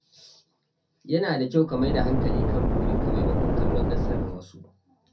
Yana da kyau ka maida hankali kan burinka maimakon kallon nasarar wasu.